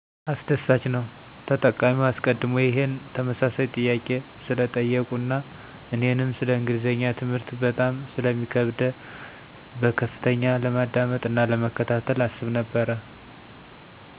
አስደሳችነዉ !ተጠቃሚዉ አሰቀድሞ ይሄን ተመሳሳይ ጥያቄ ስለጠየቁ አና እኔንም ሰለ እንግሊዝኛ ትምህርት በጣም ስለሚከብደ በከፍተኛ ለማዳመጥ አና ለመከታተል አስብ ነበረ።